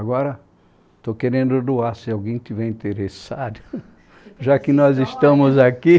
Agora estou querendo doar, se alguém tiver interessado, já que nós estamos aqui.